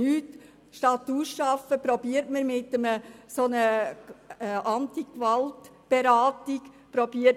Anstatt ihn auszuschaffen, versucht man ihn mit einer Antigewaltberatung zu heilen.